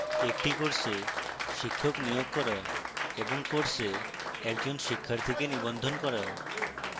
একটি course শিক্ষক নিয়োগ করা এবং course একজন শিক্ষার্থীকে নিবন্ধন করা